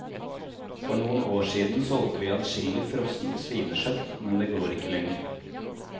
For noen år siden solgte vi adskillig frossent svinekjøtt, men det går ikke lenger.